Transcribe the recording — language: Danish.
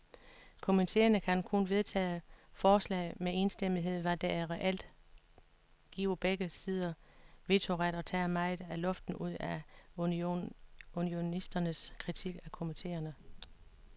Komiteerne kan kun vedtage forslag med enstemmighed, hvad der reelt giver begge sider vetoret og tager meget af luften ud af unionisternes kritik af komiteerne.